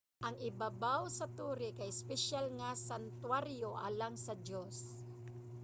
ang ibabaw sa tore kay espesyal nga santuwaryo alang sa diyos